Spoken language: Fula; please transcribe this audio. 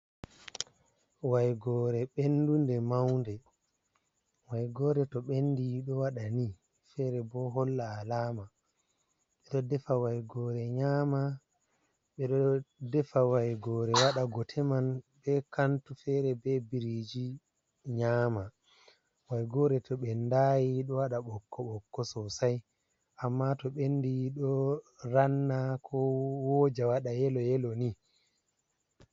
Waigore ɓendunde maunde, wayigore to ɓendi ɗo waɗa ni fere bo holla alama, ɓeɗo defa wayigore nyama ɓeɗo defa waigore waɗa gote man be kantu, fere be biriji nyama. waigore to ɓendayi ɗo waɗa ɓokko-ɓokko sosai, amma to ɓendi ɗo ranna ko wooja waɗa yelo yelo ni.